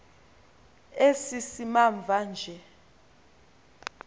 esi simamva nje